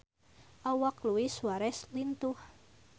Awak Luis Suarez lintuh